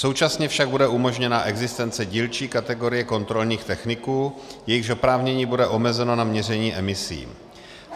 Současně však bude umožněna existence dílčí kategorie kontrolních techniků, jejichž oprávnění bude omezeno na měření emisí.